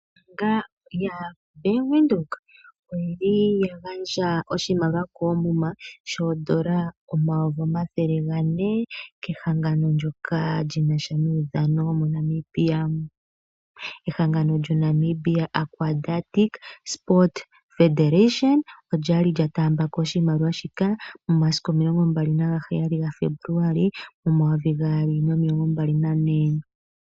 Ombaanga yaBank Windhoek oya gandja oshimaliwa koomuma shooN$ 400 000 kehangano nyoka li na sha nomaudhano moNamibia. Ehangano lyoNamibia Aquatic Sport Federation olya li lya taamba ko oshimaliwa shika momasiku 27 Febuluali 2024.